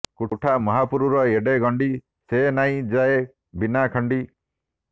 କୁଠା ମାହାପୁରୁର୍ ଏଡ଼େ ଗଣ୍ଡି ସେ ନାଇଁ ଯାଏ ବିନାଖଣ୍ଡି